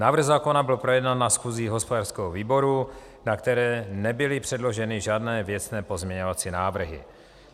Návrh zákona byl projednán na schůzi hospodářského výboru, na které nebyly předloženy žádné věcné pozměňovací návrhy.